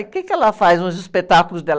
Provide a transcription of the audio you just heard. E o quê que ela faz nos espetáculos dela?